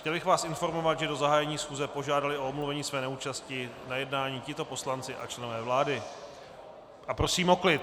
Chtěl bych vás informovat, že do zahájení schůze požádali o omluvení své neúčasti na jednání tito poslanci a členové vlády - a prosím o klid!